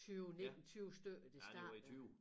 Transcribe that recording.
20 19 20 stykker det startede